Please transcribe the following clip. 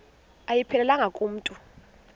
ayiphelelanga ku mntu